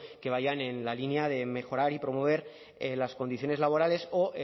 que vayan en la línea de mejorar y promover las condiciones laborales o